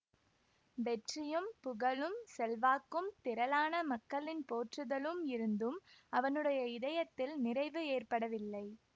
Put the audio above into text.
வெற்றியும் புகழும் செல்வாக்கும் திரளான மக்களின் போற்றுதலும் இருந்தும் அவனுடைய இதயத்தில் நிறைவு ஏற்படவில்லை